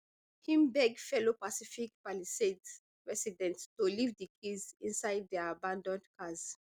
im beg fellow pacific palisades residents to leave di keys inside dia abanAcceptedd cars